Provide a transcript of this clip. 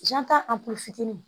Jan ta fitinin